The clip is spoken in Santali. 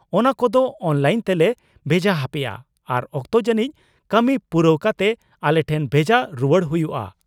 ᱚᱱᱟ ᱠᱚᱫᱚ ᱚᱱᱞᱟᱭᱤᱱ ᱛᱮᱞᱮ ᱵᱷᱮᱡᱟ ᱦᱟᱯᱮᱭᱟ ᱟᱨ ᱚᱠᱛᱚ ᱡᱟᱹᱱᱤᱡ ᱠᱟᱹᱢᱤ ᱯᱩᱨᱟᱹᱣ ᱠᱟᱛᱮ ᱟᱞᱮ ᱴᱷᱮᱱ ᱵᱷᱮᱡᱟ ᱨᱩᱣᱟᱹᱲ ᱦᱩᱭᱩᱜᱼᱟ ᱾